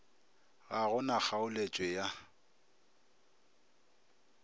ga go na kgaoletšwe ya